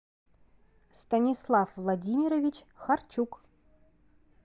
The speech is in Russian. станислав владимирович харчук